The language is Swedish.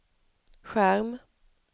skärm